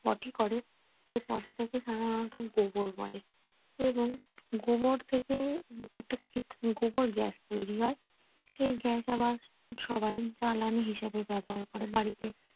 পটি করে সে পটিটাকে সাধারনত গোবর বলে। এবং গোবর থেকে একটা গোবর gas তৈরি হয়। সেই gas আবার সবাই জ্বালানী হিসেবে ব্যবহার করে বাড়িতে।